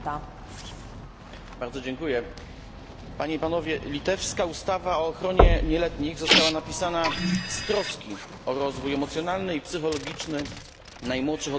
Litewska ustawa o ochronie nieletnich została napisana z troski o rozwój emocjonalny i psychologiczny najmłodszych odbiorców mediów, które są coraz bardziej obecne w życiu dzieci.